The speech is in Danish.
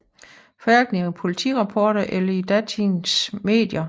Hverken i politirapporter eller i datidens medier